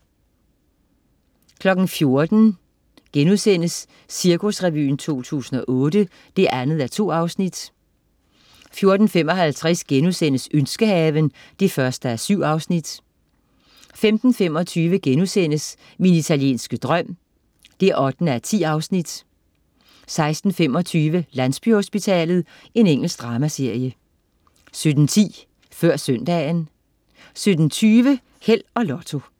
14.00 Cirkusrevyen 2008 2:2* 14.55 Ønskehaven 1:7* 15.25 Min italienske drøm 8:10* 16.25 Landsbyhospitalet. Engelsk dramaserie 17.10 Før Søndagen 17.20 Held og Lotto